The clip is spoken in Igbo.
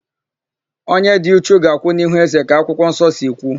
Onye dị uchu ga-akwụ n'ihu ézē ka akwụkwọnsọ si kwu.